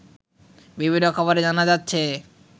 বিভিন্ন খবরে জানা যাচ্ছে